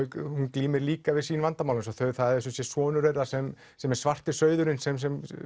glímir líka við sín vandamál það er sumsé sonur þeirra sem sem er svarti sauðurinn sem sem